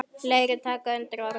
Fleiri taka undir orð hennar.